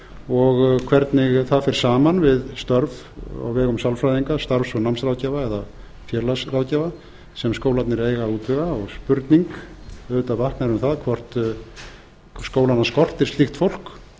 og hvernig það fer saman við störf á vegum sálfræðinga starfs og námsráðgjafa eða félagsráðgjafa sem skólarnir eiga að útvega og spurning vaknar auðvitað um það hvort skólana skortir slíkt fólk